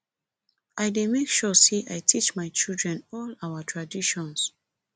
i dey make sure sey i teach my children all our traditions